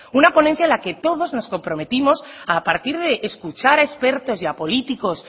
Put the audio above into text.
una ponencia en la que todos nos comprometimos a partir de escuchar a expertos y a políticos